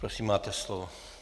Prosím, máte slovo.